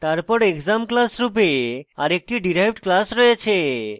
তারপর exam class রূপে আরেকটি derived class রয়েছে